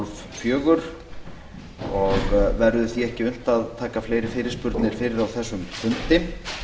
fimmtán þrjátíu og verður því ekki unnt að taka fleiri fyrirspurnir fyrir á þessum fundi